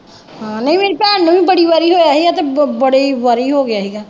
ਹਾਂ ਨਹੀਂ ਨਹੀਂ ਭੈਣ ਨਹੀਂ ਬੜੀ ਵਾਰੀ ਹੋਇਆ ਸੀ ਅਤੇ ਬੜੀ ਵਾਰੀ ਹੋ ਗਿਆਂ ਸੀਗਾ